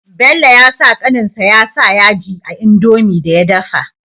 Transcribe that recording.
Bello yasa kanin sa ya sa yaji a indomie da ya dafa